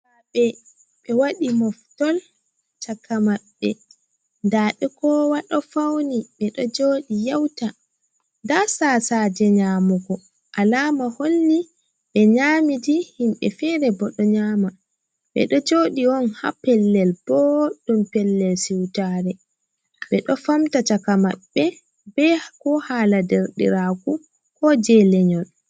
Derɗiraaɓe ɓe waɗi moftol caka maɓɓe ,ndaa ɓe kowa ɗo fawni ,ɓe ɗo joodi yauta ,ndaa tasaaje nyamugo alaama holli ɓe nyamidi. Himɓe feere bo ɗo nyaama ɓe ɗo jooɗi on haa pellel booɗɗum pellel siwtaare, ɓe ɗo famta caka maɓɓe be ko haala derɗiraaku ko jey lenyol .